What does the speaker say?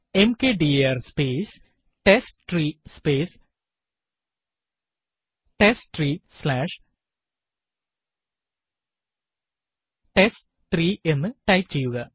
mkdir space ടെസ്റ്റ്രീ space ടെസ്റ്റ്രീ slash ടെസ്റ്റ്3 എന്ന് ടൈപ്പ് ചെയ്യുക